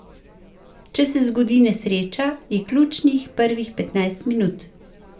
Če se zgodi nesreča, je ključnih prvih petnajst minut.